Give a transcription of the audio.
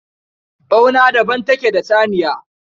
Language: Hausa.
Ɓauna daban take da saniya